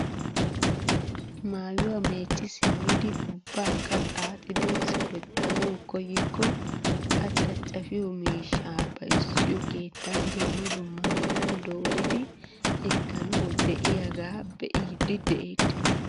Maayuwaa mecci simmidi ubbaakka xaaxidi sawettanawu koyikko a caccafiyoo miishshaa bayzziyoo keettan dumma dumma meran dooridi ekkanawu de'iyaaga be'iidi de'eettees!